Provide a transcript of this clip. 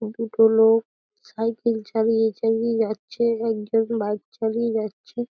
দুটো লোক সাইকেল চালিয়ে চালিয়ে যাচ্ছে একজন বাইক চালিয়ে যাচ্ছে।